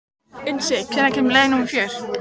Unnsi, hvenær kemur leið númer fjögur?